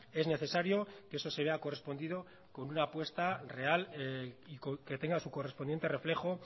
es necesario que eso se vea correspondido con una apuesta real y que tenga su correspondiente reflejo